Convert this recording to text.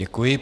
Děkuji.